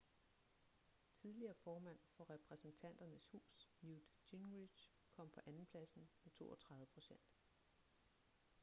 tidligere formand for repræsentanternes hus newt gingrich kom på andenpladsen med 32 procent